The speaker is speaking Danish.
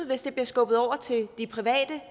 hvis det bliver skubbet over til de private